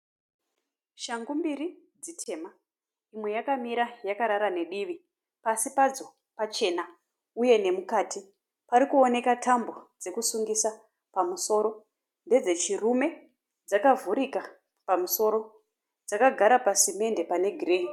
Shangu mbiri dzitema. Imwe yakamira yakarara nedivi. Pasi padzo pachena uye nemukati. Pari kuoneka tambo dzekusungisa pamusoro. Ndedzechirume dzakavhurika pamusoro. Dzakagara pasimende pane girini.